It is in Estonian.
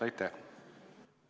Aitäh!